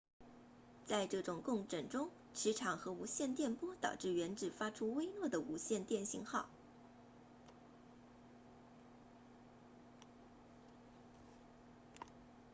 在这种共振中磁场和无线电波导致原子发出微弱的无线电信号